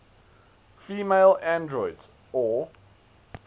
female androids or